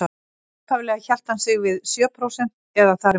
Upphaflega hélt hann sig við sjö prósent eða þar í kring.